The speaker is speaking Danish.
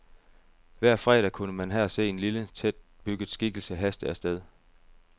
Hver fredag kunne man her se en lille, tætbygget skikkelse haste af sted.